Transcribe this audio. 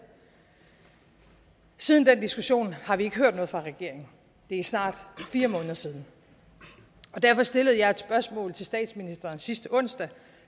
siden den diskussion har vi ikke hørt noget fra regeringen det er snart fire måneder siden derfor stillede jeg et spørgsmål til statsministeren sidste onsdag